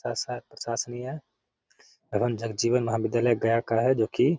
प्रशासनीय एवं जगजीवन महाविद्यालय गया है जो की --